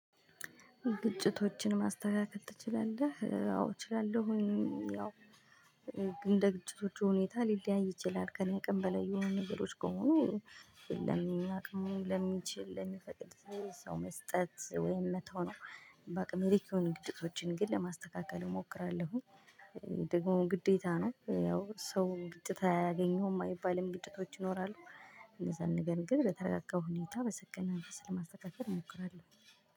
ግጭቶችን ማስተካከል ትችላለህ? አዎ እችላለሁኝ ያው እንደ ግጭቶቹ ሁኔታ ሊለያይ ይችላል ከእኔ አቅም በላይ የሆኑ ነገሮች ከሆኑ ለሚል አቅም ለሚችል ለሚፈቅድ ሰው መስጠት ወይም መተው ነው። በአቅሜ ልክ የሆኑ ግጭቶችን ግን ለማስተካከል እሞክራለሁ። ደግሞ ግዴታ ነው ያው ሰው ግጭት አያገኘሁም አይባልም ግጭቶች ይኖራሉ። እንደዛ ነገር ግን በተረጋጋው ሁኔታ በሰከነ መንፈስ ለማስተካከል እሞክራለሁ